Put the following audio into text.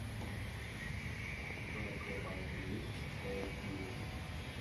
у тебя в запасе есть харакири